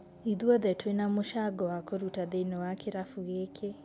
Ithuothe twĩna mũcago wa kũruta thĩini wa kirabu gĩkĩ